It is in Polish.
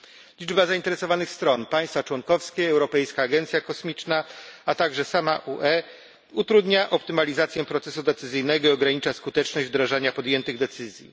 Liczba zainteresowanych stron państwa członkowskie, Europejska Agencja Kosmiczna, a także sama UE utrudnia optymalizację procesu decyzyjnego i ogranicza skuteczność wdrażania podjętych decyzji.